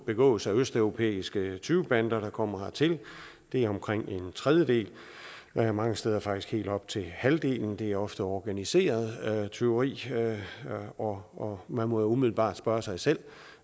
begås af østeuropæiske tyvebander der kommer hertil det er omkring en tredjedel og mange steder faktisk helt op til halvdelen det er ofte organiseret tyveri og og man må jo umiddelbart spørge sig selv